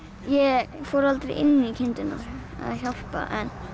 ég fór aldrei inn í kindurnar eða hjálpa